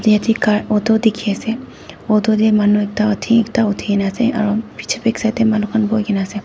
yate car auto dikhi ase auto teh manu ekta uthi ekta uthina ase aro picche back side teh manu khan bohi ke ne ase.